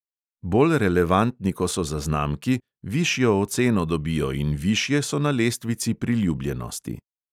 Bolj relevantni ko so zaznamki, višjo oceno dobijo in višje so na lestvici priljubljenosti.